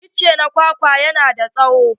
Itace na kwakwa yana da tsawo.